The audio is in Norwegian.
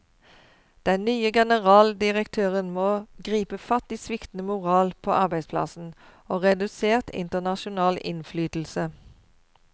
Den nye generaldirektøren må gripe fatt i sviktende moral på arbeidsplassen, og redusert internasjonal innflytelse.